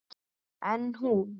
En hún.